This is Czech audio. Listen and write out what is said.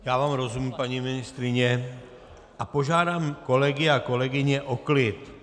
Já vám rozumím, paní ministryně, a požádám kolegy a kolegyně o klid.